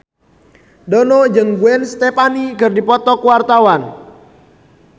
Dono jeung Gwen Stefani keur dipoto ku wartawan